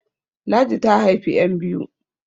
Ladi ta haifi `yan biyu